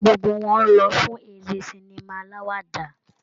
Gbogbo wọn lọ fún eré sinima aláwàdà.